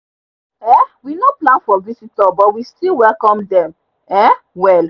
um we no plan for visitors but we still welcome dem um well